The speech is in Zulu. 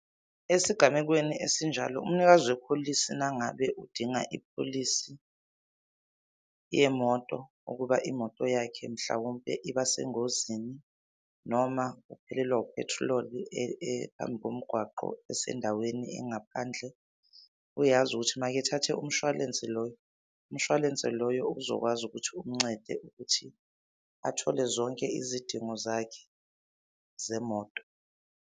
Esigamekweni esinjalo, umnikazi wepholisi nangabe udinga ipholisi yemoto ukuba imoto yakhe mhlawumpe ibasengozini noma uphelelwa uphethriloli phambi komgwaqo esendaweni engaphandle. Uyazi ukuthi mayekethathe umshwalense loyo, umshwalense loyo uzokwazi ukuthi umncede ukuthi athole zonke izidingo zakhe zemoto.